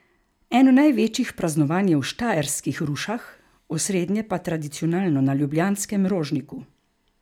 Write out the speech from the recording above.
Eno največjih praznovanj je v štajerskih Rušah, osrednje pa tradicionalno na ljubljanskem Rožniku.